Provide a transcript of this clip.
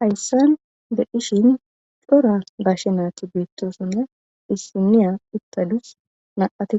Haysan beyishn cora gashe nayti betosona issiniya uttadus nam'ati